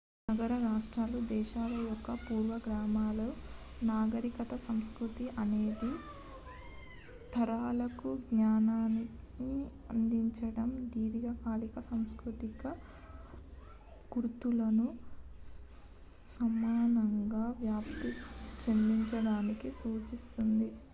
నగర-రాష్ట్రాలు దేశాల యొక్క పూర్వగాములు నాగరికత సంస్కృతి అనేక తరాలకు జ్ఞానాన్ని అందించడం దీర్ఘకాలిక సాంస్కృతిక గుర్తులను సమానంగా వ్యాప్తి చెందిచడాన్ని సూచిస్తుంది